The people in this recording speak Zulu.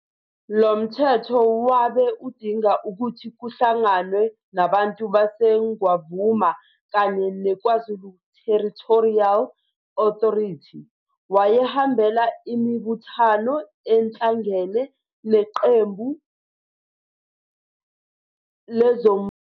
Lomthetho wabe udinga ukuthi kuhlanganwe nabantu baseNgwavuma kanye neKwaZulu Territorial Authority. Wayehambela imibuthano ehlangene neqembu lezombusazwe elabe laziwa ngokuthi, i-Progressive Federal Party kanye nomholi wayo uFriederick Van Zyl Slabbert.